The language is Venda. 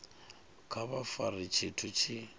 kha vha fare tshithu tshi